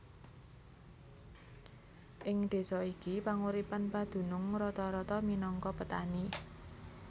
Ing désa iki panguripan padunung rata rata minangka petani